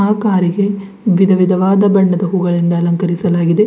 ಆ ಕಾರಿಗೆ ವಿಧವಿಧವಾದ ಬಣ್ಣದ ಹೂಗಳಿಂದ ಅಲಂಕರಿಸಲಾಗಿದೆ.